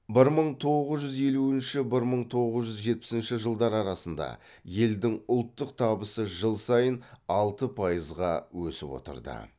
бір мың тоғыз жүз елуінші бір мың тоғыз жүз жетпісінші жылдар арасында елдің ұлттық табысы жыл сайын алты пайызға өсіп отырды